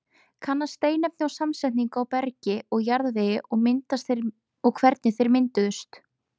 Kanna steinefni og samsetningu í bergi og jarðvegi og hvernig þeir mynduðust.